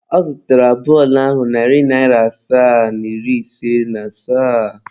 Ọ zụtara bọọlụ ahụ narị naira asaa na iri ise na asaa.